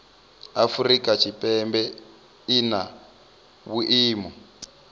afrika tshipembe i na vhuimo